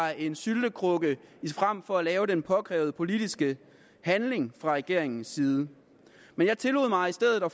er en syltekrukke frem for at lave den påkrævede politiske handling fra regeringens side men jeg tillod mig i stedet at